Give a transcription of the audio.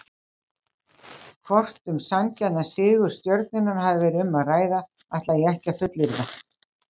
Hvort um sanngjarnan sigur Stjörnunnar hafi verið um að ræða ætla ég ekki að fullyrða.